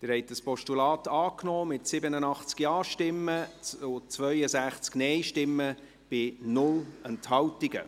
Sie haben dieses Postulat angenommen, mit 87 Ja- gegen 62 Nein-Stimmen bei 0 Enthaltungen.